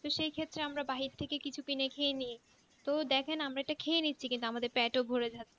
তো সেই ক্ষত্রে আমরা বাহির থেকে কিছু কিনে খেয়ে নি তো দেখেন আমরা তো খেয়ে নিচ্ছি কিন্তু আমাদের পেট ও ভোরে থাকছে